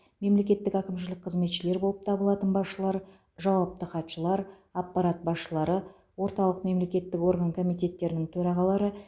мемлекеттік әкімшілік қызметшілер болып табылатын басшылар жауапты хатшылар аппарат басшылары орталық мемлекеттік орган комитеттерінің төрағалары